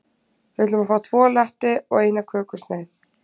Við ætlum að fá tvo latte og eina kökusneið.